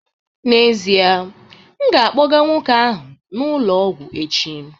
N'ezie, m ga-akpọga nwoke ahụ n'ụlọ ọgwụ echi